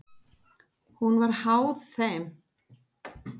Hún var háð þeim.